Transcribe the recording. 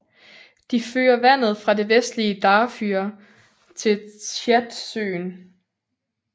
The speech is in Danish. De fører vandet fra det vestlige Darfur til Tchadsøen